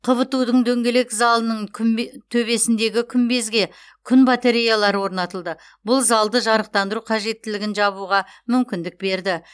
қбту дың дөңгелек залының күнбе төбесіндегі күмбезге күн батареялары орнатылды бұл залды жарықтандыру қажеттілігін жабуға мүмкіндік берді